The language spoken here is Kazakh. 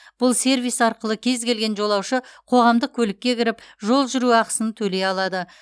бұл сервис арқылы кез келген жолаушы қоғамдық көлікке кіріп жол жүру ақысын төлей алады